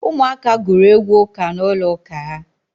Ụmụ aka gụrụ egwu ụka n'ụlọ ụka ha.